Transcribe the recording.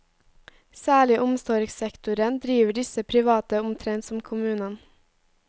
Særlig i omsorgssektoren driver disse private omtrent som kommunen.